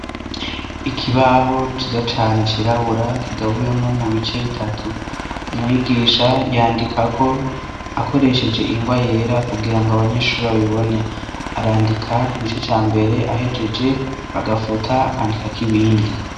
Ikibaho ciza cane cirabura kigabuyemo mu bice bitatu umwigisha yandikako akoresheje ingwa yera kugira ngo abanyeshuri babibone arandika ku gice ca mbere ahejeje bagafuta akandikako ibindi.